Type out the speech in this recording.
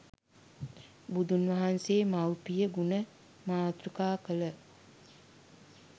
බුදුන් වහන්සේ මව්පිය ගුණ මාතෘකා කළ